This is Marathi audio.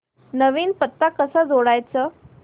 नवीन पत्ता कसा जोडायचा